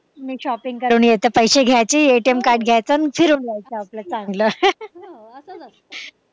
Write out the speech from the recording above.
मी shopping करून येते पैसे घ्यायचे ATM card घ्यायचं आणि फिरून यायचं आपलं चांगलं